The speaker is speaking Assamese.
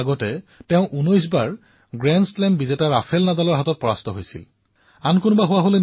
ঠিক কিছু পৰ আগেয়ে তেওঁ ১৯ বাৰৰ গ্ৰেণ্ড শ্লেম বিজেতা আৰু টেনিছৰ কিংবদন্তী ৰাফেল নাডালৰ সৈতে ফাইনেলত পৰাজয় বৰণ কৰিছিল